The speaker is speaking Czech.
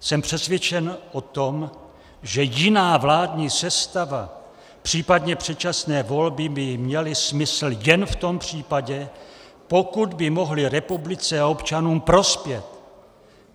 Jsem přesvědčen o tom, že jiná vládní sestava, příp. předčasné volby by měly smysl jen v tom případě, pokud by mohly republice a občanům prospět.